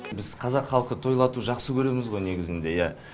біз қазақ халқы тойлату жақсы көреміз ғой негізінде иә